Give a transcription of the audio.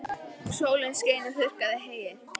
Og sólin skein og þurrkaði heyið.